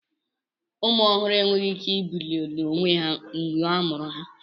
Ụmụ ọhụrụ enweghị ike ibili n'onwe ha mgbe a mụrụ ha.